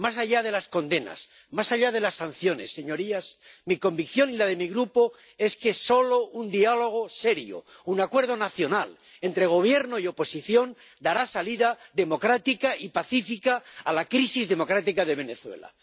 Más allá de las condenas, más allá de las sanciones, señorías, mi convicción y la de mi Grupo es que solo un diálogo serio, un acuerdo nacional entre Gobierno y oposición dará salida democrática y pacífica a la crisis democrática de Venezuela.